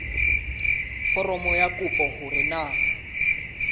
foromong ya kopo hore na